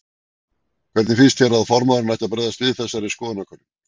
Hvernig finnst þér að formaðurinn ætti að bregðast við þessari skoðanakönnun?